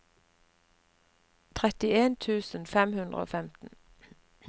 trettien tusen fem hundre og femten